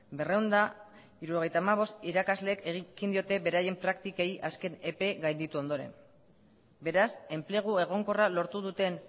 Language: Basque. berrehun eta hirurogeita hamabost irakaslek ekin diote beraien praktikei azken epe gainditu ondoren beraz enplegu egonkorra lortu duten